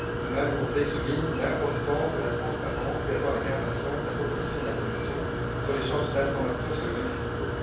De même, le Conseil souligne l'importance de la transparence et attend avec impatience la proposition de la Commission sur l'échange d'informations sur les rulings fiscaux.